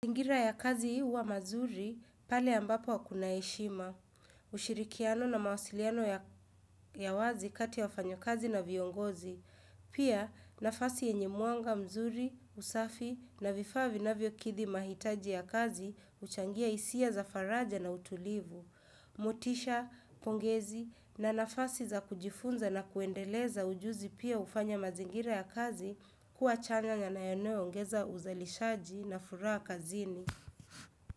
Mazingira ya kazi huwa mazuri, pale ambapo kuna heshima. Ushirikiano na mawasiliano ya wazi kati ya wafanyakazi na viongozi. Pia, nafasi enye mwanga mzuri, usafi na vifaa navyokidhi mahitaji ya kazi, huchangia hisia za faraja na utulivu. Motisha, pongezi na nafasi za kujifunza na kuendeleza ujuzi pia ufanya mazingira ya kazi kuwa chanya na nayono yongeza uzalishaji na furaha kazini.